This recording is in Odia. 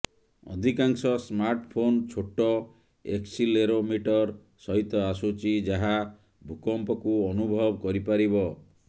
ଅଧିକାଂଶ ସ୍ମାର୍ଟଫୋନ୍ ଛୋଟ ଏକ୍ସିଲେରୋମିଟର ସହିତ ଆସୁଛି ଯାହା ଭୂକମ୍ପକୁ ଅନୁଭବ କରିପାରିବ